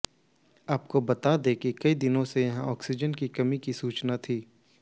आपको बता दें कि कई दिनों से यहां ऑक्सीजन की कमी की सूचना थी